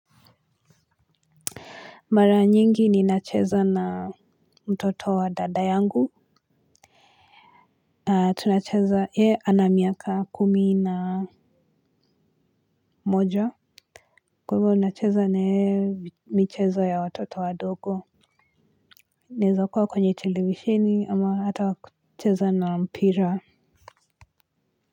Mara nyingi ninacheza na mtoto wa dada yangu. Tunacheza ye ana miaka kumi na moja. Kwa hivo nacheza naye michezo ya watoto wadogo. Naeza kuwa kwenye televishini ama hata wa kucheza na mpira.